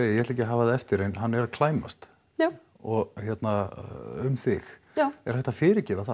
ég ætla ekki að hafa það eftir en hann er að klæmast já og hérna um þig já er hægt að fyrirgefa það